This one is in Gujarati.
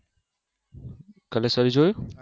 કોલેશ્વરી જોયું